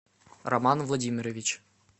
роман владимирович